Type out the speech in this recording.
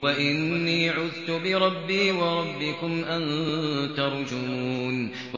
وَإِنِّي عُذْتُ بِرَبِّي وَرَبِّكُمْ أَن تَرْجُمُونِ